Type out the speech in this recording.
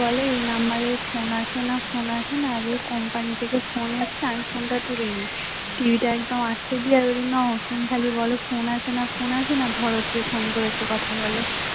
বলে এই number phone আসে না phone আসে না company থেকে phone এসেছে, আমি phone তুলিনি এই নাও তুমি শুধু খালি বল phone আসে না phone আসে না ধরো কে ফোন করেছে কথা বলো